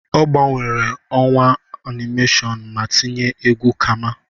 Ọ gbanwere ọwa animation ma tinye egwu kama.